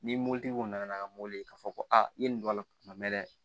Ni mobilitigi kɔni nana ka mobili k'a fɔ ko aa i ye nin don a la kuma mɛn dɛ